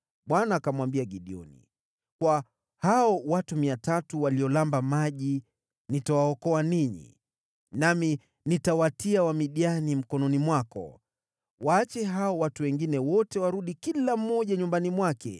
Bwana akamwambia Gideoni, “Kwa hao watu 300 walioramba maji nitawaokoa ninyi, nami nitawatia Wamidiani mkononi mwako. Waache hao watu wengine wote warudi kila mmoja nyumbani mwake.”